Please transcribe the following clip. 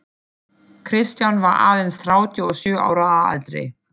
Kristján var aðeins þrjátíu og sjö ára að aldri.